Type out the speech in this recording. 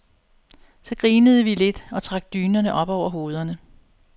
Så grinede vi lidt og trak dynerne op over hovederne.